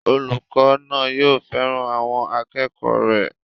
Olùkọ́ náà yóò fẹ́ràn àwọn akẹ́kọ̀ọ́ rẹ̀